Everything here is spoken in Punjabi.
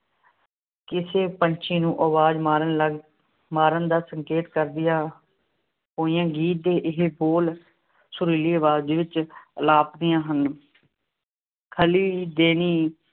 ਕਿਸੇ ਪੰਛੀ ਨੂੰ ਅਵਾਜ਼ ਮਾਰਨ ਲੱਗ ਮਾਰਨ ਦਾ ਸੰਕੇਤ ਕਰਦੀਆਂ ਹੋਈਆਂ ਗੀਤ ਦੇ ਇਹ ਬੋਲ ਸੁਰੀਲੀ ਅਵਾਜ਼ ਵਿੱਚ ਅਲਾਪਦੀਆਂ ਹਨ। ਖਲੀ ਦੇਨੀ